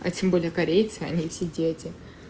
а тем более корейцы они все дети